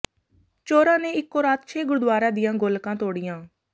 ਚੋਰਾਂ ਨੇ ਇੱਕੋ ਰਾਤ ਛੇ ਗੁਰਦੁਆਰਿਆਂ ਦੀਆਂ ਗੋਲਕਾਂ ਤੋੜੀਆਂ